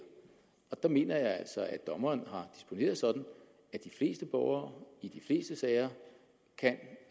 og der mener jeg altså at dommeren har disponeret sådan at de fleste borgere i de fleste sager kan